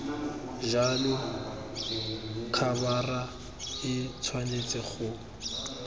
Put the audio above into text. jalo khabara e tshwanetse go